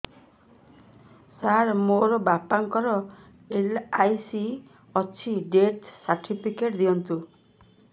ସାର ମୋର ବାପା ଙ୍କର ଏଲ.ଆଇ.ସି ଅଛି ଡେଥ ସର୍ଟିଫିକେଟ ଦିଅନ୍ତୁ